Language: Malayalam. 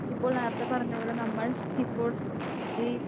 ഇപ്പോൾ നേരത്തെ പറഞ്ഞ പോലെ നമ്മൾ ഇപ്പോൾ ഈ